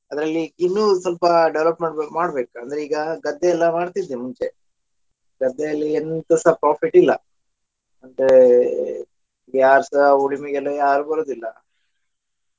ಅದ್ರಲ್ಲಿ ಇನ್ನೂ ಸ್ವಲ್ಪ development work ಮಾಡ್ಬೇಕಂದ್ರೆ ಈಗ ಗದ್ದೆ ಎಲ್ಲ ಮಾಡ್ತಿದ್ದೆ ಮುಂಚೆ ಗದ್ದೆಯಲ್ಲಿ ಎಂತಸ profit ಇಲ್ಲ ಯಾರ್ಸ ಉಳುಮೆಗೆಲ್ಲ ಯಾರ್ ಬರುವುದಿಲ್ಲ.